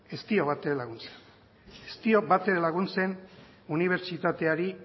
ez dio batere laguntzen ez dio batere laguntzen unibertsitateari